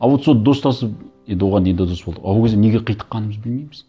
а вот сол достасып енді оған дейін де дос болдық а ол кезде неге қитыққанымызды білмейміз